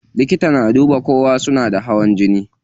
Likita yana duba ko suna da hawan jini.